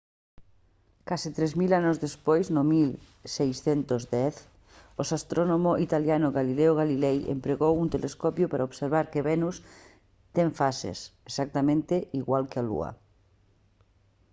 case tres mil anos despois no 1610 o astrónomo italiano galileo galilei empregou un telescopio para observar que venus ten fases exactamente igual que a lúa